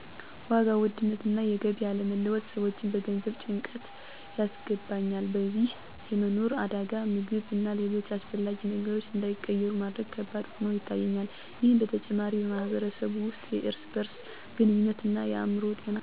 ዋጋ ውድነት እና የገቢ አለመለወጥ ሰዎችን በገንዘብ ጭንቀት ያስገባኛል በዚህም የመኖር አደጋ ምግብ እና ሌሎች አስፈላጊ ነገሮች እንዳይቀር ማድረግ ከባድ ሆኖ ይታየኛል። ይህ በተጨማሪ በማህበረሰብ ውስጥ የእርስ በርስ ግንኙነትን እና አእምሮ ጤና እክል ይፈጥራል የሚል ስሜት ይሰማኛል።